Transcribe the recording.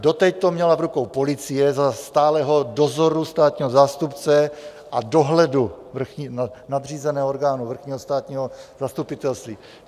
Doteď to měla v rukou policie za stálého dozoru státního zástupce a dohledu nadřízeného orgánu Vrchního státního zastupitelství.